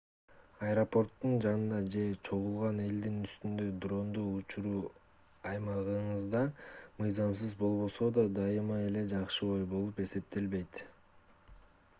аэропорттун жанында же чогулган элдин үстүндө дронду учуруу аймагыңызда мыйзамсыз болбосо да дайыма эле жакшы ой болуп эсептелбейт